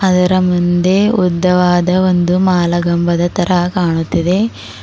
ಇದರ ಮುಂದೆ ಉದ್ದವಾದ ಒಂದು ಮಾಲಗಂಬದ ತರಹ ಕಾಣುತ್ತಿದೆ.